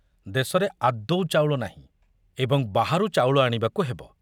ଦେଶରେ ଆଦୌ ଚାଉଳ ନାହିଁ ଏବଂ ବାହାରୁ ଚାଉଳ ଆଣିବାକୁ ହେବ।